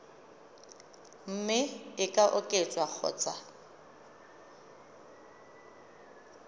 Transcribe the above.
mme e ka oketswa kgotsa